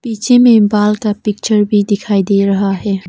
पीछे में बाल का पिक्चर भी दिखायी दे रहा है।